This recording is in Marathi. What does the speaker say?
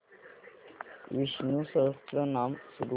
विष्णु सहस्त्रनाम सुरू कर